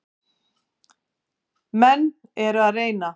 Menn eru að reyna.